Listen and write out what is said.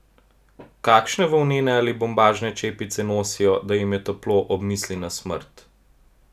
Kakšne volnene ali bombažne čepice nosijo, da jim je toplo ob misli na smrt?